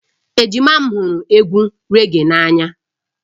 Ejima m hụrụ egwu raggae n'anya